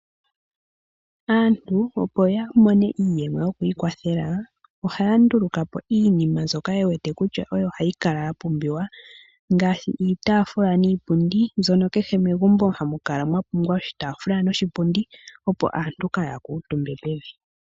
Aantu opo ya mone iiyemo yokwiikwathela, ohaa ndulukapo iinima mbyoka ye wete kutya oyo hayi kala yapumbiwa ,ngaashi iitaafula niipundi. Kehe megumbo oha mu kala mwa pumbwa iitafula niipundi opo aantu kaya kale omuntumba pevi.